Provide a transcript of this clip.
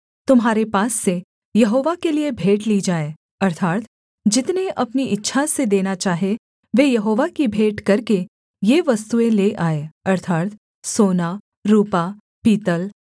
तुम्हारे पास से यहोवा के लिये भेंट ली जाए अर्थात् जितने अपनी इच्छा से देना चाहें वे यहोवा की भेंट करके ये वस्तुएँ ले आएँ अर्थात् सोना रुपा पीतल